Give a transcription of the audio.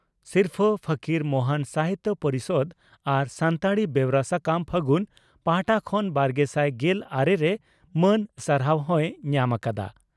ᱥᱤᱨᱯᱷᱟᱹ ᱯᱷᱚᱠᱤᱨ ᱢᱚᱦᱚᱱ ᱥᱟᱦᱤᱛᱭᱚ ᱯᱚᱨᱤᱥᱚᱫᱽ ᱟᱨ ᱥᱟᱱᱛᱟᱲᱤ ᱵᱮᱣᱨᱟ ᱥᱟᱠᱟᱢ 'ᱯᱷᱟᱹᱜᱩᱱ' ᱯᱟᱦᱴᱟ ᱠᱷᱚᱱ ᱵᱟᱨᱜᱮᱥᱟᱭ ᱜᱮᱞ ᱟᱨᱮ ᱨᱮ ᱢᱟᱹᱱ ᱥᱟᱨᱦᱟᱣ ᱦᱚᱸᱭ ᱧᱟᱢ ᱟᱠᱟᱫᱼᱟ ᱾